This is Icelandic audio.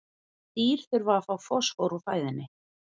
Dýr þurfa að fá fosfór úr fæðunni.